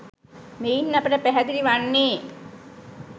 මෙයින් අපට පැහැදිලි වන්නේ